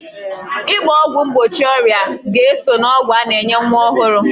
Ịgba ọgwụ mgbochi ọrịa ga-eso n'ọgwụ a na-enye nwa ọhụrụ